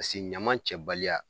Pase ɲaman cɛbaliya